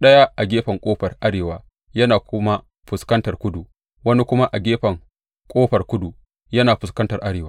ɗaya a gefen ƙofar arewa yana kuma fuskantar kudu, wani kuma a gefen ƙofar kudu yana fuskantar arewa.